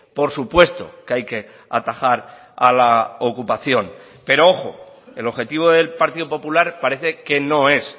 por supuesto que hay que atajar a la ocupación pero ojo el objetivo del partido popular parece que no es